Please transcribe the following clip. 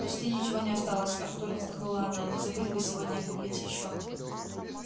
почти ничего не осталось артур вздохнула она не забыть бы сегодня купить ещё